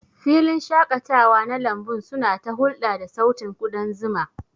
Filin shaƙatawa na lambun suna ta hulɗa da sautin kudan zuma.